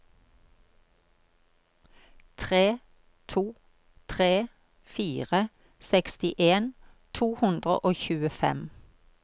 tre to tre fire sekstien to hundre og tjuefem